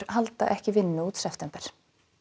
halda ekki vinnu út september